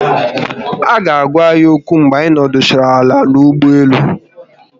Aga agwa anyi okwu mgbe anyị nọdụchara ala n'ụgbọelu